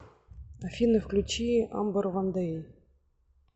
афина включи амбер ван дэй